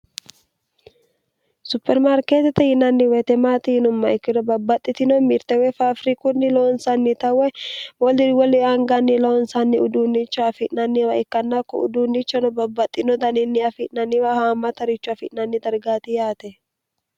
supermaarkeetete yinanni weitemaatiinumma ikkino babbaxxitino mirtewe faafiri kunni loonsanni tawe mooldiri woli aanganni loonsanni uduunnicha afi'nanniwa ikkannakko uduunnichano babbaxxino daninni afi'nanniwa haama tarichu afi'nanni dargaati yaate